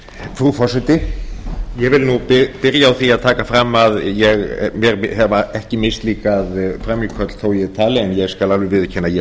frú forseti ég vil nú byrja á því að taka fram að mér hafa ekki mislíkað frammíköll þó ég tali en ég skal alveg viðurkenna að mér